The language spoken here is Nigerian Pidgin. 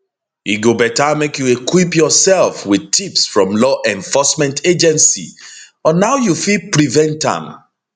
e go beta make you equip your self wit tips from law enforcement agency on how you fit prevent am